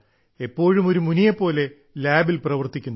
എപ്പോഴും ഒരു മുനിയെപ്പോലെ ലാബിൽ പ്രവർത്തിക്കുന്നു